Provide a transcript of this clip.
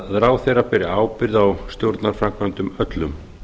að ráðherra beri ábyrgð á stjórnarframkvæmdum öllum